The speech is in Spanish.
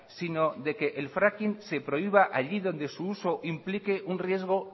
sino de que el fracking se prohíba allí donde su uso implique un riesgo